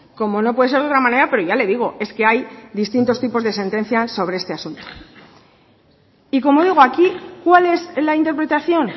como no puede ser de otra manera pero ya le digo es que hay distintos tipos de sentencias sobre este asunto y como digo aquí cuál es la interpretación